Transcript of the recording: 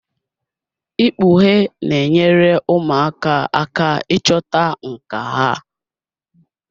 Ikpughe na-enyere ụmụaka aka ịchọta nkà ha.